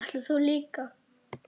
Ætlar þú líka?